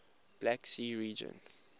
black sea region